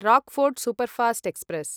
Rockfort Superfast express